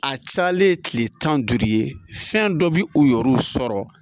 A cayalen ye tile tan ni duuru ye fɛn dɔ bi u yɛr'u sɔrɔ